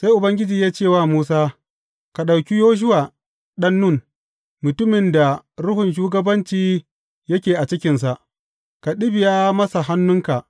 Sai Ubangiji ya ce wa Musa, Ka ɗauki Yoshuwa ɗan Nun, mutumin da ruhun shugabanci yake a cikinsa, ka ɗibiya masa hannunka.